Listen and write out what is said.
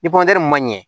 Ni ma ɲɛ